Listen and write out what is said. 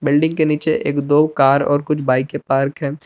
Building के नीचे एक दो कार और कुछ बाइकें पार्क हैं।